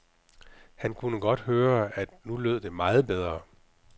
Han kunne godt høre, at nu lød det meget bedre.